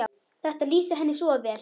Þetta lýsir henni svo vel.